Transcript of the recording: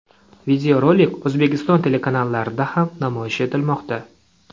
Videorolik O‘zbekiston telekanallarda ham namoyish etilmoqda.